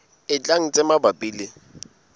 e tlang tse mabapi le